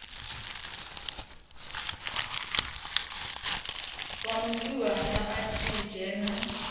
wa musiwana a tshi dzhena